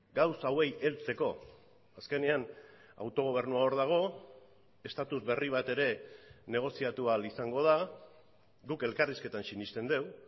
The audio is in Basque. gauza hauei heltzeko azkenean autogobernua hor dago estatus berri bat ere negoziatu ahal izango da guk elkarrizketan sinesten dugu